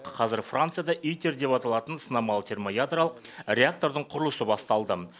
қазір францияда аитер деп аталатын сынамалы термоядролық реактордың құрылысы басталды